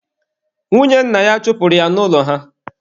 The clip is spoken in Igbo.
Nwunye nna ya chụpụrụ ya n'ụlọ ha.